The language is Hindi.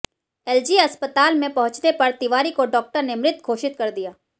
एलजी अस्पताल में पहुंचने पर तिवारी को डॉक्टर ने मृत घोषित कर दिया